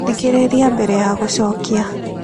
Thikĩrĩria mbere ya gũcokia.